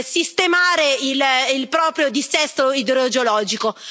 sistemare il proprio dissesto idrogeologico.